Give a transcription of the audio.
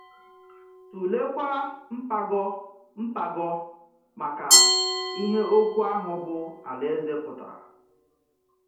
Tụ̀leèkwa mgbàgọ mgbàgọ maka ihe okwu ahụ bụ́ “aláèzè” pụtara.